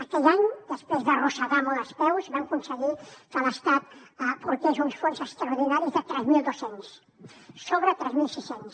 aquell any després d’arrossegar molt els peus vam aconseguir que l’estat aportés uns fons extraordinaris de tres mil dos cents sobre tres mil sis cents